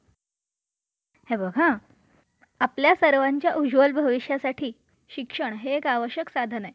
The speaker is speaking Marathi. hitech policy केवळ दायित्व policy plus वाहनाच्या मालकाचे नुकसान झाल्यास त्याला सहसा odcover असे म्हटले जाते लक्षात ठेवा तुम्ही जर केवळ दायित्व policy घेतली